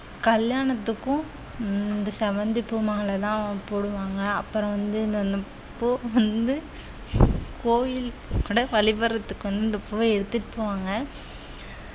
கல்யாணத்துக்கும் இந்த செவ்வந்தி பூ மாலைதான் போடுவாங்க அப்புறம் வந்து இந்த கோ~ வந்து கோயில் கூட வழிபடறதுக்கு கொண்டு போய் எடுத்திட்டு போவாங்க